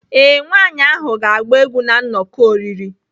Ee, nwanyị ahụ ga-agba egwu na nnọkọ oriri.